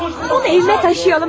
Qoy onu evə daşıyalım, hə?